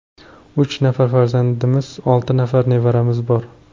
Uch nafar farzandimiz, olti nafar nevaramiz bor.